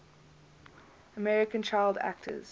american child actors